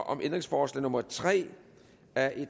om ændringsforslag nummer tre af